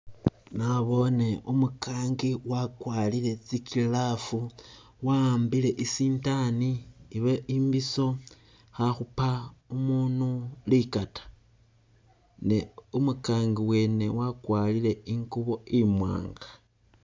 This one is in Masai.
Nabone umugangi wagwarile tsi glove wahambile isindani oba imbiso khakhuupa umundu ligata ne umugangi wene wagwarile ingubo imwanga.